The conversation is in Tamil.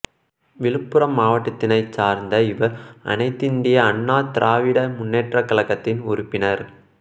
விழுப்புரம் மாவட்டத்தினைச் சார்ந்த இவர் அனைத்திந்திய அண்ணா திராவிட முன்னேற்றக் கழகத்தின் உறுப்பினர்